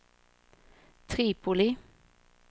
Tripoli